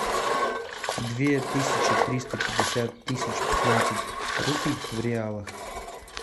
две тысячи триста пятьдесят тысяч пятнадцать рупий в реалах